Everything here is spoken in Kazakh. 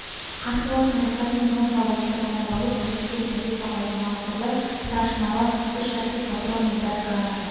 қасболаттың рұқсатымен он солдатты таңдап алып көрсеткен позицияға орналастырды старшинадан үш жәшік патрон мен біраз граната